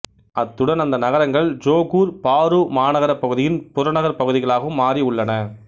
அத்துடன் அந்த நகரங்கள் ஜொகூர் பாரு மாநகரப் பகுதியின் புறநகர்ப் பகுதிகளாகவும் மாறி உள்ளன